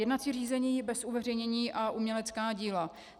Jednací řízení bez uveřejnění a umělecká díla.